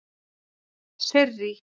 Sirrý